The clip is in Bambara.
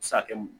Sakɛ mu